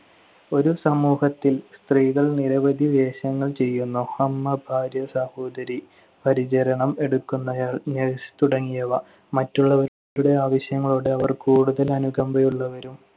ഒരു സമൂഹത്തിൽ സ്ത്രീകൾ നിരവധി വേഷങ്ങൾ ചെയ്യുന്നു. അമ്മ, ഭാര്യ, സഹോദരി, പരിചരണം എടുക്കുന്നയാൾ, nurse തുടങ്ങിയവ. മറ്റുള്ളവരുടെ ആവശ്യങ്ങളോട് അവർ കൂടുതൽ അനുകമ്പയുള്ളവരും